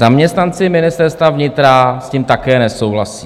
Zaměstnanci Ministerstva vnitra s tím také nesouhlasí.